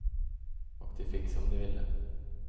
Och de fick som de ville.